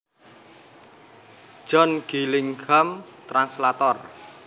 John Gillingham translator